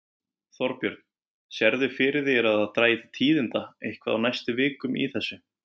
Þorbjörn: Sérðu fyrir þér að það dragi til tíðinda eitthvað á næstu vikum í þessu?